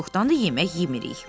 Çoxdanmı yemək yemirik?